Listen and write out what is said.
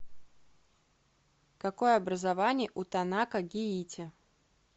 какое образование у танака гиити